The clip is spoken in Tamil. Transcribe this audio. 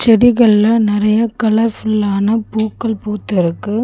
செடிகல்ல நறைய கலர் ஃபுல்லான பூக்கள் பூத்துருக்கு.